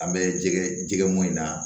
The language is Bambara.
An bɛ jɛgɛ jɛgɛ mɔn in na